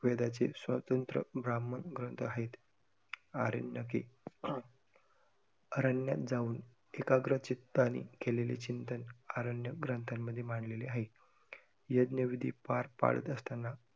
वेदाचे स्वतंत्र ब्राह्मण ग्रंथ आहेत. आरण्यके, आरण्यात जाऊन एकाग्र चित्ताने केलेले चिंतन आरण्य ग्रंथांमध्ये मांडलेले आहेत. यज्ञ विधि पार पाडत असताना